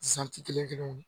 kelen kelen